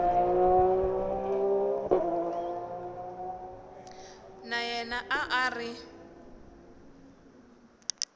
na yena a a ri